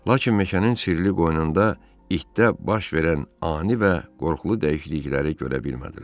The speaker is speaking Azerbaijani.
Lakin meşənin sirli qoynunda itdə baş verən ani və qorxulu dəyişiklikləri görə bilmədilər.